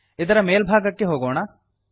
ಇದರ ಮೇಲ್ಭಾಗಕ್ಕೆ ಹೋಗೋಣ